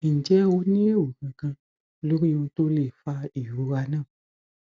ǹjẹ o ní èrò kankan lórí ohun to le fa ìrora náà